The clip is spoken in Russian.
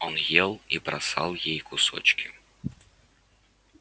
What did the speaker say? он ел и бросал ей кусочки